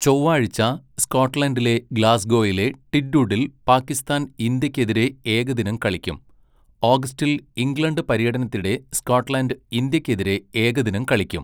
ചൊവ്വാഴ്ച സ്കോട്ട്ലൻഡിലെ ഗ്ലാസ്ഗോയിലെ ടിറ്റുഡിൽ പാകിസ്ഥാൻ ഇന്ത്യയ്ക്കെതിരെ ഏകദിനം കളിക്കും, ഓഗസ്റ്റിൽ ഇംഗ്ലണ്ട് പര്യടനത്തിനിടെ സ്കോട്ട്ലൻഡ് ഇന്ത്യയ്ക്കെതിരെ ഏകദിനം കളിക്കും.